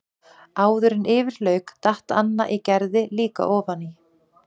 Áður en yfir lauk datt Anna í Gerði líka ofan í.